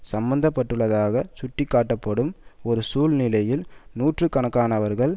சம்பந்தப்பட்டுள்ளதாக சுட்டிக்காட்டப்படும் ஒரு சூழ்நிலையில் நூற்று கணக்கானவர்கள்